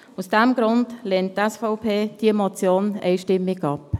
Aus diesem Grund lehnt die SVP diese Motion einstimmig ab.